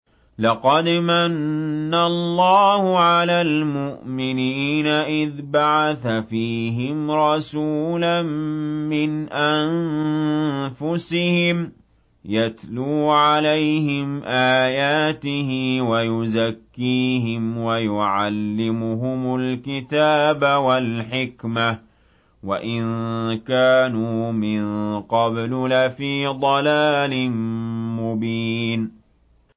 لَقَدْ مَنَّ اللَّهُ عَلَى الْمُؤْمِنِينَ إِذْ بَعَثَ فِيهِمْ رَسُولًا مِّنْ أَنفُسِهِمْ يَتْلُو عَلَيْهِمْ آيَاتِهِ وَيُزَكِّيهِمْ وَيُعَلِّمُهُمُ الْكِتَابَ وَالْحِكْمَةَ وَإِن كَانُوا مِن قَبْلُ لَفِي ضَلَالٍ مُّبِينٍ